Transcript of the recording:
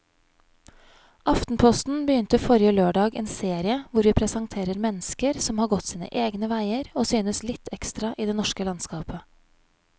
Aftenposten begynte forrige lørdag en serie hvor vi presenterer mennesker som har gått sine egne veier og synes litt ekstra i det norske landskapet.